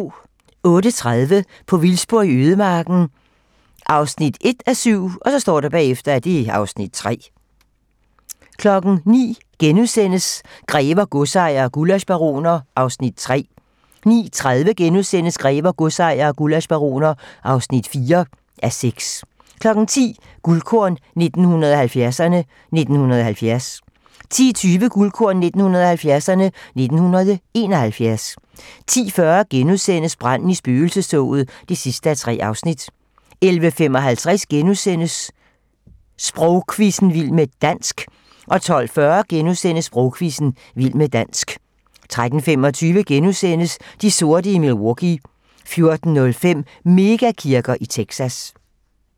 08:30: På vildspor i ødemarken (1:7) (Afs. 3) 09:00: Grever, godsejere og gullaschbaroner (3:6)* 09:30: Grever, godsejere og gullaschbaroner (4:6)* 10:00: Guldkorn 1970'erne: 1970 10:20: Guldkorn 1970'erne: 1971 10:40: Branden i spøgelsestoget (3:3)* 11:55: Sprogquizzen - vild med dansk * 12:40: Sprogquizzen – vild med dansk * 13:25: De sorte i Milwaukee * 14:05: Mega-kirker i Texas